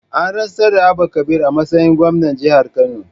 An rantsar da Abba Kabir a matsayin gwamna jihar Kano